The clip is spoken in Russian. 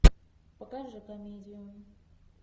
покажи комедию